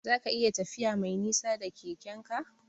Zaka iya tafiya Mai nisa da Keke'n ka?